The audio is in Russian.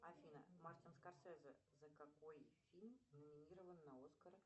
афина мартин скорсезе за какой фильм номинирован на оскар